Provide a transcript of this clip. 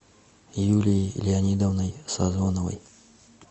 юлией леонидовной созоновой